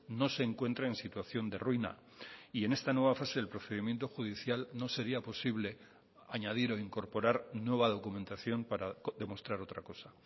no se encuentra en situación de ruina y en esta nueva fase del procedimiento judicial no sería posible añadir o incorporar nueva documentación para demostrar otra cosa